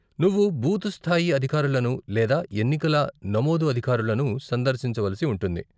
నువ్వు బూత్ స్థాయి అధికారులను లేదా ఎన్నికల నమోదు అధికారులను సందర్శించవలసి ఉంటుంది.